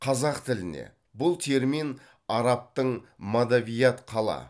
қазақ тіліне бұл термин арабтың мадавият қала